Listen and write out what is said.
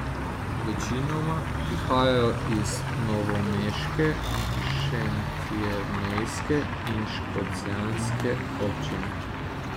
Večinoma prihajajo iz novomeške, šentjernejske in škocjanske občine.